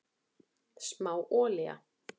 Smá olía